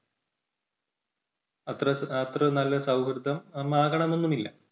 അത്ര~അത്ര നല്ല സൗഹൃദം ആകണമെന്നുമില്ല.